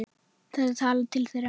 Þetta talar til þeirra.